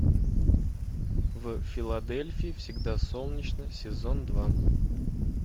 в филадельфии всегда солнечно сезон два